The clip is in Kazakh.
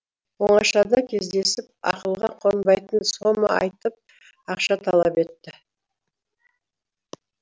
оңашада кездесіп ақылға қонбайтын сома айтып ақша талап етті